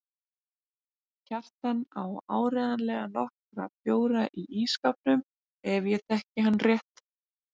Kjartan á áreiðanlega nokkra bjóra í ísskápnum ef ég þekki hann rétt.